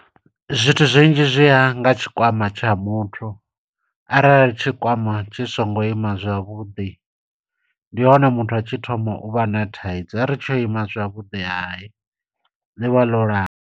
Zwithu zwinzhi zwi ya nga tshikwama tsha muthu, arali tshikwama tshi songo ima zwavhuḓi, ndihone muthu a tshi thoma uvha na thaidzo. Are tsho ima zwavhuḓi hai ḽivha ḽo lala.